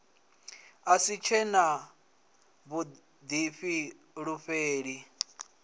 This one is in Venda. a si tshe na vhuḓifulufheli